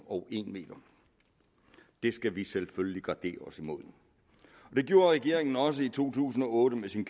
og en m det skal vi selvfølgelig gardere os imod det gjorde regeringen også i to tusind og otte med sin